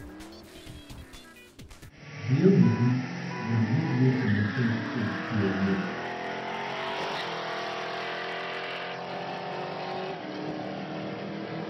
Dhi e mbui mondo iyud weche mathoth e tieng'e